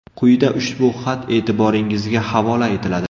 Quyida ushbu xat e’tiboringizga havola etiladi.